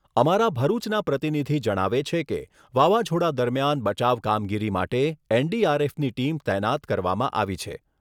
અમારા ભરૂચના પ્રતિનિધિ જણાવે છે કે વાવાઝોડા દરમિયાન બચાવ કામગીરી માટે એનડીઆરએફની ટીમ તૈનાત કરવામાં આવી છે.